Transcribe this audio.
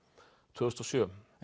tvö þúsund og sjö